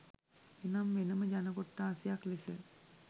එනම් වෙනම ජන කොට්ඨාසයක් ලෙස